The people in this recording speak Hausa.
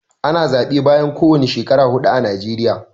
Ana zaɓe bayan kowani shekara huɗu a najeriya.